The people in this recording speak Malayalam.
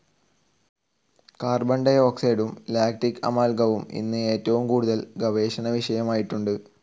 കാർബണ ഡി ഓക്സൈഡും ലാക്റ്റിക്‌ അമാൽഗവും അന്ന് ഏറ്റവും കൂടുതൽ ഗവേഷണ വിഷയമായിട്ടുണ്ട്.